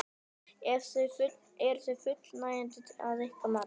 Eru þau fullnægjandi að ykkar mati?